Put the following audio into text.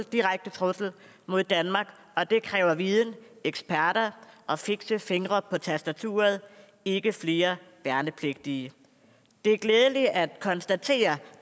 direkte trussel mod danmark og det kræver viden eksperter og fikse fingre på tastaturet ikke flere værnepligtige det er glædeligt at konstatere